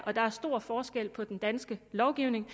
der er stor forskel på den danske lovgivning og